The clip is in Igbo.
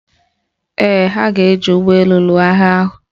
Ee, ha ga-eji ụgbọelu lụọ agha ahụ